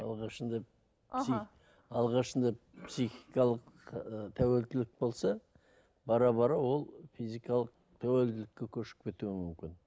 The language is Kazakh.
алғашында алғашында психикалық і тәуелділік болса бара бара ол физикалық тәуелділікке көшіп кетуі мүмкін